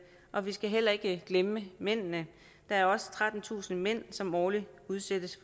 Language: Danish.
og vi skal heller ikke glemme mændene der er også trettentusind mænd som årligt udsættes